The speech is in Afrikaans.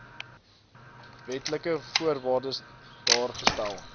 wetlike voorwaardes daargestel